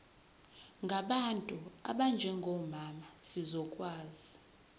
ngabantu abanjengomama zizokwazi